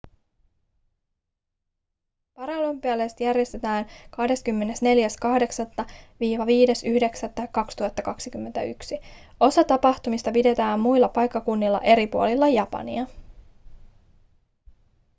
paralympialaiset järjestetään 24.8.–5.9.2021. osa tapahtumista pidetään muilla paikkakunnilla eri puolilla japania